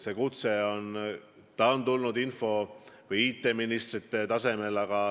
See kutse on tõesti tulnud info- või IT-ministrile.